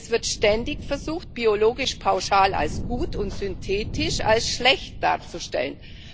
Es wird ständig versucht, biologisch pauschal als gut und synthetisch als schlecht darzustellen.